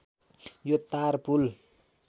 यो तार पुल